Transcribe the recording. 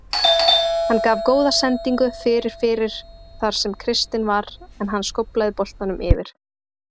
Hann gaf góða sendingu fyrir fyrir þar sem Kristinn var en hann skóflaði boltanum yfir.